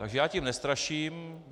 Takže já tím nestraším.